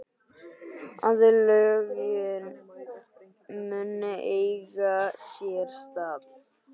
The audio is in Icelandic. Aðlögun mun eiga sér stað.